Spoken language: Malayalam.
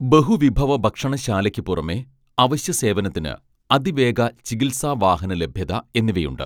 ബഹുവിഭവ ഭക്ഷണശാലയ്ക്കു പുറമെ അവശ്യസേവനത്തിന് അതിവേഗ ചികിത്സാവാഹനലഭ്യത എന്നിവയുണ്ട്